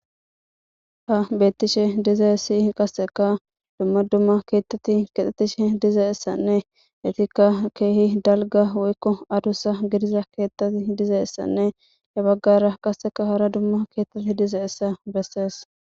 ha bettishe dizae si qasseka dumma dumma keettati kexettishe diza issanne itikka keehi dalga woykko adussa gidiza keettati diza issanne he baggara qasseka hara dumma keettati diza issa bessees